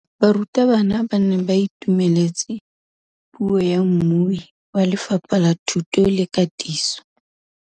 Barutabana ba ne ba itumeletse puô ya mmui wa Lefapha la Thuto le Katiso.